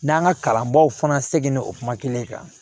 N'an ka kalanbaaw fana segu kuma kelen kan